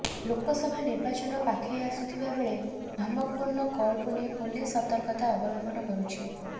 ଲୋକସଭା ନିର୍ବାଚନ ପାଖେଇ ଆସୁଥିବା ବେଳେ ଧମକପୂର୍ଣ୍ଣ କଲକୁ ନେଇ ପୁଲିସ୍ ସତର୍କତା ଅବଲମ୍ବନ କରୁଛି